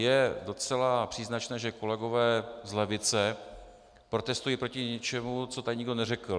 Je docela příznačné, že kolegové z levice protestují proti něčemu, co tady nikdo neřekl.